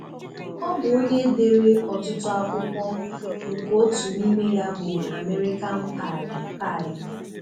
Ọ bụ onye dere ọtụtụ akwụkwọ, nke otu n'ime ya bụ American Pie. Pie.